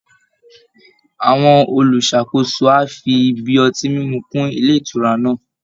Àwọn olùṣàkóso á fi ibi ọtí mímú kún ilé ìtura náà